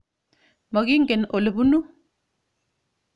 Mokingen ole punu .